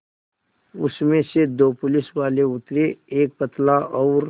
उसमें से दो पुलिसवाले उतरे एक पतला और